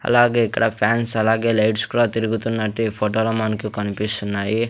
అలాగే ఇక్కడ ఫ్యాన్స్ అలాగే లైట్స్ కూడా తిరుగుతున్నట్టు ఈ ఫొటో లో మనకి కన్పిస్తున్నాయి.